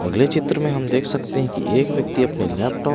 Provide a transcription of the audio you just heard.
अगले चित्र में हम देख सकते हैं कि एक व्यक्ति अपने लैपटॉप --